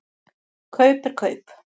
Kaup er kaup.